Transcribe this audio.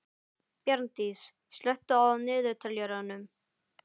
Bjarndís, slökktu á niðurteljaranum.